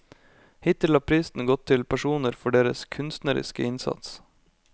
Hittil har prisen gått til personer for deres kunstneriske innsats.